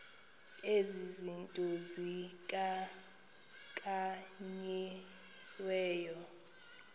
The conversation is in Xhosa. ezi zinto zikhankanyiweyo